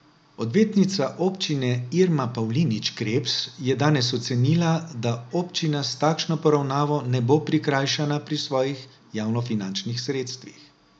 Odvetnica občine Irma Pavlinič Krebs je danes ocenila, da občina s takšno poravnavo ne bo prikrajšana pri svojih javnofinančnih sredstvih.